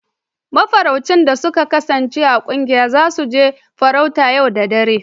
Mafarauci da sun kasance a ƙungiyan, za su je farauta yau da dare.